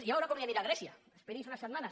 ja veurà com li anirà a grècia esperi’s unes setmanes